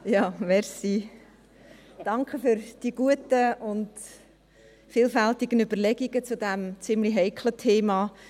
Vielen Dank für die guten und vielfältigen Überlegungen zu diesem ziemlich heiklen Thema.